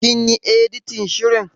Kin yi editin shirin.